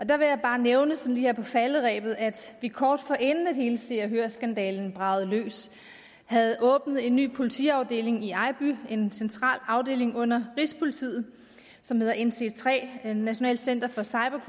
der vil jeg bare nævne sådan lige her på falderebet at vi kort forinden hele se og hør skandalen bragede løs havde åbnet en ny politiafdeling i ejby en central afdeling under rigspolitiet som hedder nc3 nationalt center for cyber